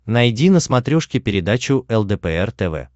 найди на смотрешке передачу лдпр тв